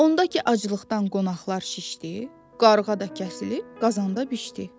Onda ki, aclıqdan qonaqlar şişdi, qarğa da kəsilib, qazanda bişdi.